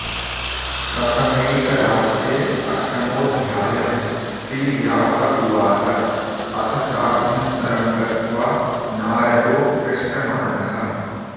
प्रथमैकरात्रे अष्टमोऽध्यायः श्रीव्यास उवाच अथ चाभ्यन्तरं गत्वा नारदो हृष्टमानसः